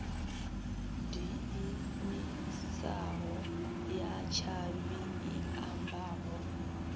diimisaho ya tshavhi i ambaho